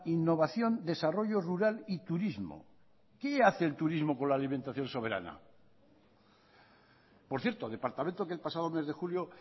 innovación desarrollo rural y turismo qué hace el turismo con la alimentación soberana por cierto departamento que el pasado mes de julio